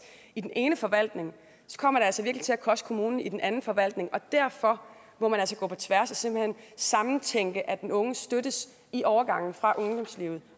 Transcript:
i den ene forvaltning kommer det altså virkelig til at koste kommunen i den anden forvaltning og derfor må man altså gå på tværs og simpelt hen sammentænke at den unge støttes i overgangen fra ungdomslivet